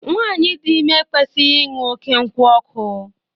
Nwaanyi dị ime ekwesịghị ịṅụ oké nkwụ ọkụ.